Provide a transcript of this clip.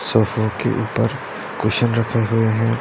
सोफे के ऊपर कुशन रखे हुए हैं।